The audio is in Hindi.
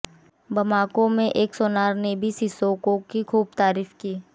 बमाको में एक सुनार ने भी सिसोको की ख़ूब तारीफ़ की